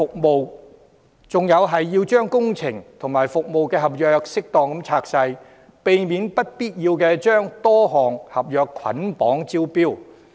我建議要將工程和服務合約適當分拆，避免不必要地將多項合約捆綁招標。